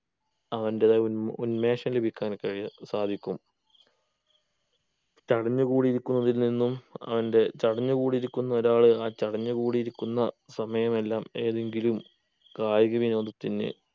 അവൻ്റെതായ ഉൻമേ ഉന്മേഷം ലഭിക്കാൻ കഴിയെ സാധിക്കും തടഞ്ഞ് കൂടി ഇരിക്കുന്നതിൽ നിന്നും അവൻ്റെ ചടഞ്ഞ് കൂടി ഇരിക്കുന്ന ഒരാൾ ആ ചടഞ്ഞ് കൂടി ഇരിക്കുന്ന സമയമെല്ലാം ഏതെങ്കിലും കായിക വിനോദത്തിന്